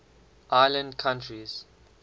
island countries